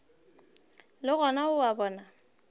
le gona o a bona